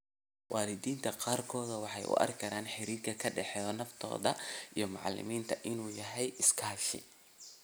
Waalidiinta qaarkood waxay u arkaan xiriirka ka dhexeeya naftooda iyo macallimiinta inuu yahay iskaashi.